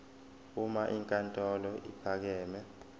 uma inkantolo ephakeme